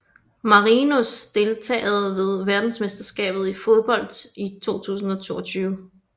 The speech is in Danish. Marinos Deltagere ved verdensmesterskabet i fodbold 2022